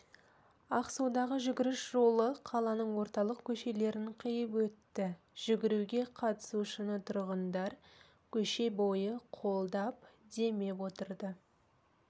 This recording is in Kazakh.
ақсудағы жүгіріс жолы қаланың орталық көшелерін қиып өтті жүгіруге қатысушыны тұрғындар көше бойы қолдап демеп отырды